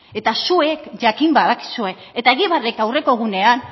eta zuek jakin badakizue eta egibarrek aurreko egunean